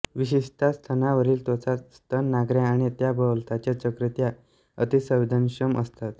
विशेषतः स्तनांवरील त्वचा स्तनाग्रे आणि त्याभोवतालच्या चकत्या अतीसंवेदनक्षम असतात